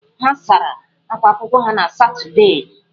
Ha sara akwa akwụkwọ ha na Satọdee.